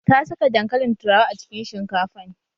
Ta saka dankalin turawa a cikin shinkafan